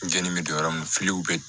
Jenini bɛ don yɔrɔ min na filiw bɛ